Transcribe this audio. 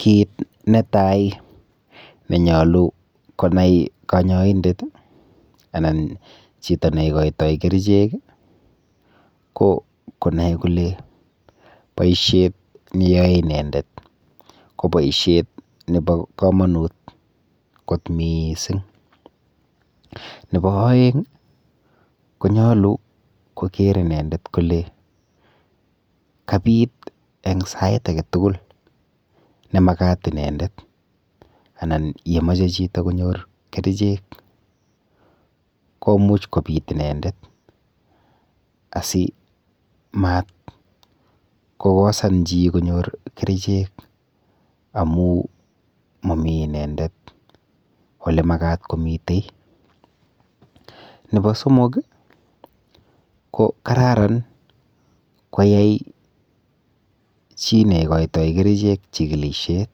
Kiit netai nenyolu konai kanyaindet ana chito neikoitoi kerichek ko konai kole boishet neyoei inendet ko boishet nebo kamonut kot mising' nebo oeng' konyolu koker inendet kole kabit eng' sait agetugul nemakat inendet anan yemochei chito konyoru kerichek komuuch kobit inendet asimatkosan chi konyoru kerichek amu mami inendet ole makat komitei nebo somok ko kararan koyai chi neikoitoikerichek chikilishet